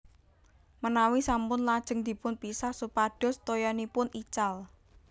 Menawi sampun lajeng dipun pisah supados toyanipun ical